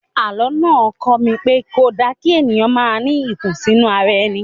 Àlọ́ náà kọ́ mi pé kò da kí èèyàn máa ní ìkùnsínú ara ẹni